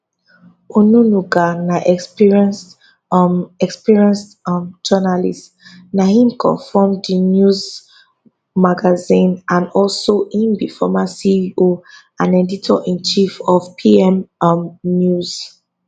onunuga na experienced um experienced um journalist na him coform thenews magazine and also im be former ceo and editorinchief of pm um news